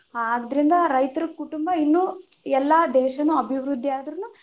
ಆದ್ರಿಂದ ರೈತರ ಕುಟುಂಬಾ ಇನ್ನು ಎಲ್ಲಾ ದೇಶಾನು ಅಭಿವೃದ್ಧಿ ಆದ್ರುನು.